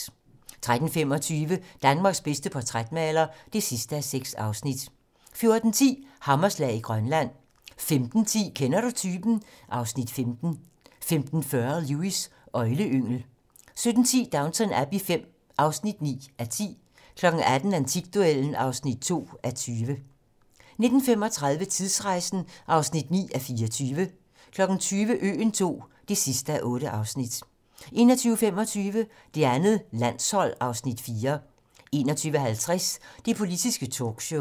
13:25: Danmarks bedste portrætmaler (6:6) 14:10: Hammerslag i Grønland 15:10: Kender du typen? (Afs. 15) 15:40: Lewis: Øgleyngel 17:10: Downton Abbey V (9:10) 18:00: Antikduellen (2:20) 19:35: Tidsrejsen (9:24) 20:00: Øen II (8:8) 21:25: Det andet landshold (Afs. 4) 21:50: Det politiske talkshow